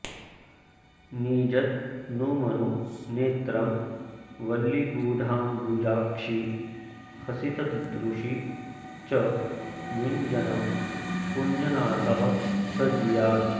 निजतनुमनु नेत्रं वल्लिगूढाम्बुजाक्षी हसितदृशि च युञ्जन् कुञ्जनाथः स जीयात्